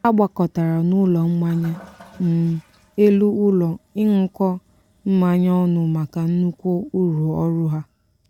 ha gbakọtara n'ụlọ mmanya um elu ụlọ ịṅụkọ mmanya ọnụ maka nnukwu uru ọrụ ha.